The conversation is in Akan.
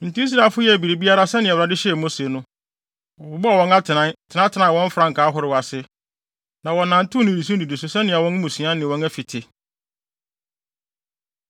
Enti Israelfo yɛɛ biribiara sɛnea Awurade hyɛɛ Mose no. Wɔbobɔɔ wɔn atenae, tenatenaa wɔn frankaa ahorow ase, na wɔnantew nnidiso nnidiso sɛnea wɔn mmusua ne wɔn afi te.